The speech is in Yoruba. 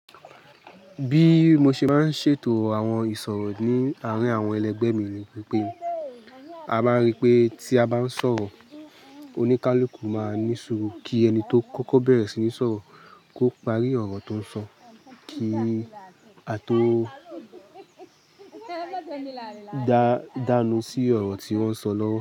Bí mo ṣe maá ń ṣètò àwọn ìṣòro ní àárín àwọn ẹlẹgbẹ́ mi ni pé a máa rí pé tí a bá ń sọ̀rọ̀, oníkálukú máa ní sùúrù kí ẹni tó kọ́kọ́ bẹ̀rẹ̀ sí ní sọ̀rọ̀ kó parí ọ̀rọ̀ tó ń sọ kí a tó dàánú sí ọ̀rọ̀ tí wọ́n sọ lọ́wọ́